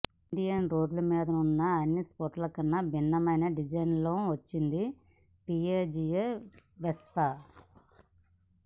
Indian రోడ్ల మీదున్న అన్ని స్కూటర్ల కన్నా విభిన్నమైన డిజైన్తో వచ్చింది పియాజియో వెస్పా